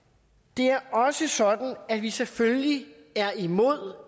det er også sådan at vi selvfølgelig er imod